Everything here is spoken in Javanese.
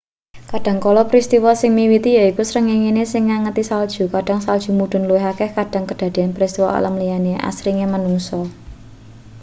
kadhangkala pristiwa sing miwiti yaiku srengenge sing ngangeti salju kadhang salju mudhun luwih akeh kadhang kedadeyan pristiwa alam liyane asringe manungsa